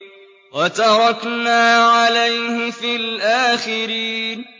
وَتَرَكْنَا عَلَيْهِ فِي الْآخِرِينَ